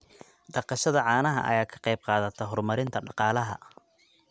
Dhaqashada caanaha ayaa ka qayb qaadata horumarinta dhaqaalaha.